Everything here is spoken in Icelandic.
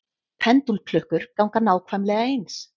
Pendúlklukkur ganga nákvæmlega eins.